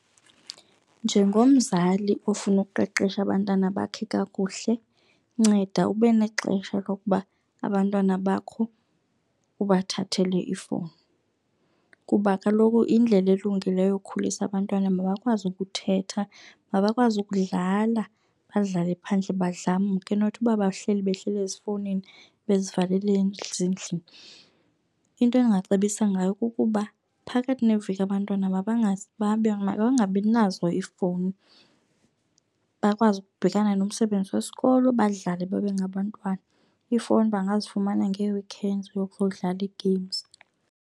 Njengomzali ofuna ukuqeqesha abantwana bakhe kakuhle nceda ube nexesha lokuba abantwana bakho ubathathele ifowuni. Kuba kaloku indlela elungileyo yokukhulisa abantwana mabakwazi ukuthetha, mabakwazi ukudlala badlale phandle badlamke not uba bahleli behleli ezifowunini bezivalele ezindlini. Into endingacebisa ngayo kukuba phakathi neveki abantwana makangabinazo ifowuni, bakwazi ukubhekana nomsebenzi wesikolo badlale babe ngabantwana. Ifowuni bangazifumana ngee-weekends ukuyodlala i-games.